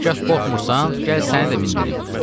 “Hərgah qorxmursan, gəl səni də mindirim.”